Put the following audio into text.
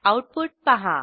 output पहा